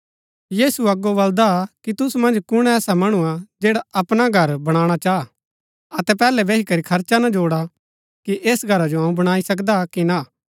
यीशु अगो बलदा कि तुसु मन्ज कुण ऐसा मणु हा जैडा अपणा घर बणाणा चाहा अतै पहलै बैही करी खर्चा ना जोड़ा कि ऐस घरा जो अऊँ बणाई सकदा कि ना